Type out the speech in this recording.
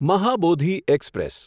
Mahabodhi express